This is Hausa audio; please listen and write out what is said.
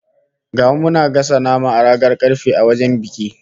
Ga mu muna gasa nama a kan ragar karfe a wajen biki